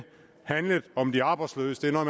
handlede om de arbejdsløse det er